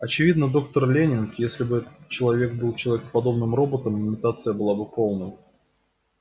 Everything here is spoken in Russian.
очевидно доктор лэннинг если бы этот человек был человекоподобным роботом имитация была бы полной